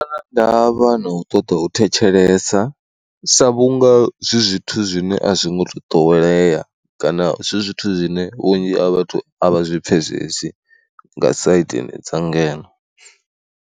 Ndavha na u ṱoḓa u thetshelesa sa vhunga zwi zwithu zwine a zwi ngo to ḓowelea kana zwi zwithu zwine vhunzhi ha vhathu a vha zwi pfhesesi nga saidini dza ngeno.